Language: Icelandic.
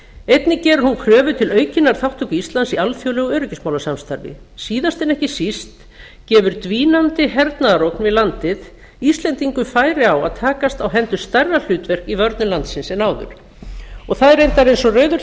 einnig gerir hún kröfu til aukinnar þátttöku íslands í alþjóðlegu öryggismálasamstarfi síðast en ekki síst gefur dvínandi hernaðarógn við landið íslendingum færi á að takast á hendur stærra hlutverk í vörnum landsins en áður það er reyndar eins og rauður